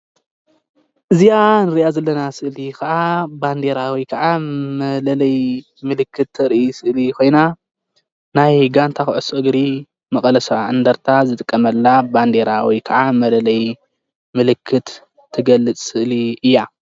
እዚኣ እንርእያ ዘለና ስእሊ ከዓ ባንዴራ ወይ ከዓ መለለይ ምልክት ተርኢ ስእሊ ኮይና ናይ ጋንታ ኩዕሶ እግሪ መቀለ ሰብዓ እንደርታ ዝጥቀመላ ባንዴራ ወይ ከዓ መለለይ ምልክት ትገልፅ ስእሊ እያ::